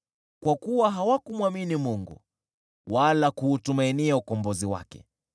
kwa kuwa hawakumwamini Mungu, wala kuutumainia ukombozi wake.